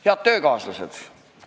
Head töökaaslased!